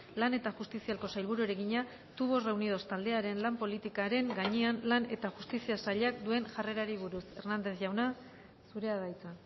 lan eta justiziako sailburuari egina tubos reunidos taldearen lan politikaren gainean lan eta justizia sailak duen jarrerari buruz hernández jauna zurea da hitza